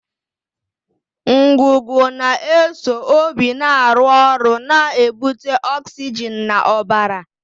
Ngụgụ na-eso obi na-arụ ọrụ na-ebute ọksijin n'ọbara.